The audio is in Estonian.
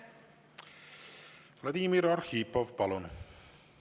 Vladimir Arhipov, palun!